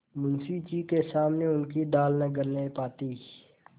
मुंशी जी के सामने उनकी दाल न गलने पाती